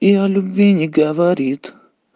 и о любви не говорит